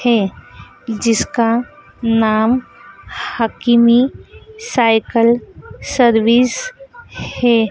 है जिसका नाम हकीमी साइकिल सर्विस है।